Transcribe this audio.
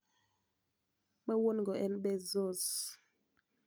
Ma wuon go en Bezos.